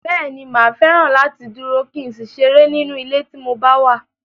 Bẹ́ẹ̀ni, mà á fẹ́ràn láti dúró, kí n sì ṣeré nínú ilé tí mo bá wà.